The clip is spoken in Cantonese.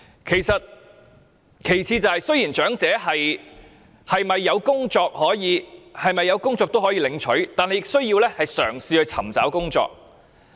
其次，雖然無論長者是否有工作也可以領取補助金，但亦需要嘗試尋找工作。